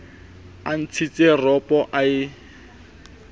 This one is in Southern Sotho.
a ntshitse ropo a e